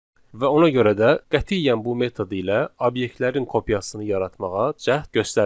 Və ona görə də qətiyyən bu metod ilə obyektlərin kopyasını yaratmağa cəhd göstərməyin.